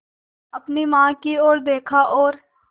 अपनी माँ की ओर देखा और